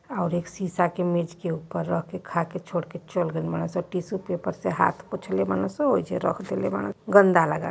और एक शीशा के मेज के ऊपर रखे खा के छोड़ के चल गए मानस उ। टिसू पेपर से हाथ पोंछे ले मानस उ गन्दा लगा --